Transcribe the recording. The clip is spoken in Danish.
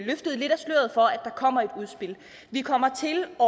der kommer et udspil vi kommer til at